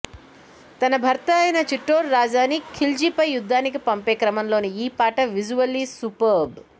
తన భర్త అయిన చిట్టోర్ రాజాని ఖిల్జీపై యుద్ధానికి పంపే క్రమంలోని ఈ పాట విజువల్లీ సూపర్భ్